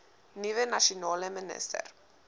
nuwe nasionale minister